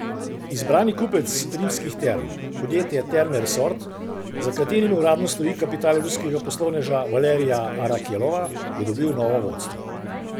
Izbrani kupec Rimskih term, podjetje Terme resort, za katerim uradno stoji kapital ruskega poslovneža Valerija Arakelova, je dobil novo vodstvo.